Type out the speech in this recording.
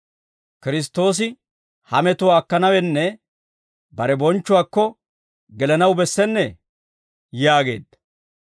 Kiristtoosi ha metuwaa akkanawunne bare bonchchuwaakko gelanaw bessennee?» yaageedda.